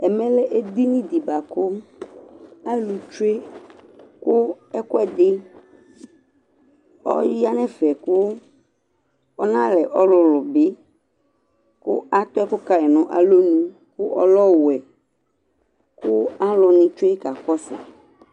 ɛmɛ lɛ edini baku alu tsoe ku ɛkɔɛdi ɔya nɛ fɛ ku ɔna lɛ ɔlulu bi ku atɛ ku kayi nu aluonu ku ɔlɛ owoɛ ku aluni tsoe kakɔsu